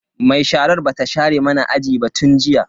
Mai sharar bata share mana aji ba tun jiya.